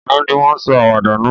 Àná ni won sọ àwàdà náà